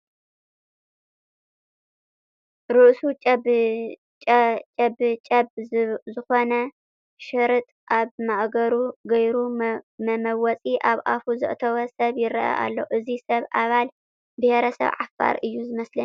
ርእሱ ጨብጀብ ዝኾነ፣ ሽርጥ ኣብ ማእገሩ ገይሩ መመወፂ ኣብ ኣፉ ዘእተወ ሰብ ይርአ ኣሎ፡፡ እዚ ሰብ ኣባል ብሄረሰብ ዓፋር እዩ ዝመስለኒ፡፡